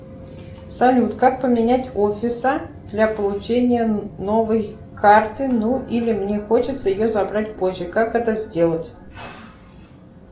салют как поменять офиса для получения новой карты ну или мне хочется ее забрать позже как это сделать